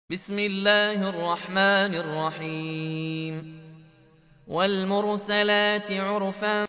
وَالْمُرْسَلَاتِ عُرْفًا